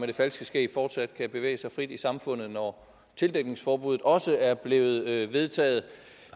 det falske skæg fortsat kan bevæge sig frit i samfundet når tildækningsforbuddet også er blevet vedtaget